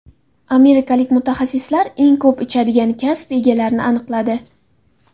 Amerikalik mutaxassislar eng ko‘p ichadigan kasb egalarini aniqladi.